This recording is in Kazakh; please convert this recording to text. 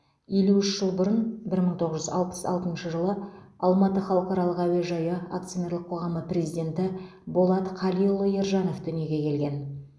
елу үш жыл бұрын бір мың тоғыз жүз алпыс алтыншы жылы алматы халықаралық әуежайы акционерлік қоғамы президенті болат қалиұлы ержанов дүниеге келген